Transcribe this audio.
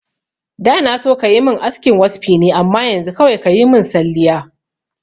Da na so kayi min askin waspi ne amma yanzu kawai kayi min salliya